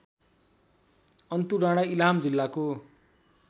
अन्तुडाँडा इलाम जिल्लाको